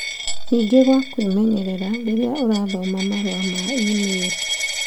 Ningĩ gwa kwĩmenyerera rĩrĩa ũrathoma marũa ma e-mĩirũ.